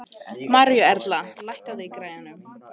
Maríuerla, lækkaðu í græjunum.